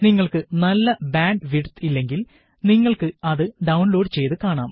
നിങ്ങള്ക്ക് നല്ല bandwidth ഇല്ലെങ്കില് നിങ്ങള്ക്ക് അത് ഡൌണ്ലോഡ് ചെയ്ത് കാണാം